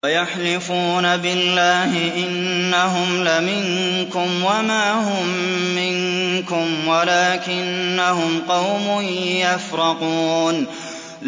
وَيَحْلِفُونَ بِاللَّهِ إِنَّهُمْ لَمِنكُمْ وَمَا هُم مِّنكُمْ وَلَٰكِنَّهُمْ قَوْمٌ يَفْرَقُونَ